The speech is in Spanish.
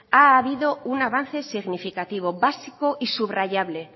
ha habido un avance significativo básico y subrayable